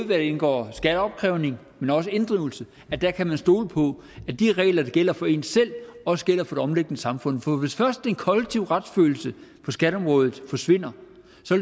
hvad angår skatteopkrævning men også inddrivelse kan man stole på at de regler der gælder for en selv også gælder for det omliggende samfund for hvis først den kollektive retsfølelse på skatteområdet forsvinder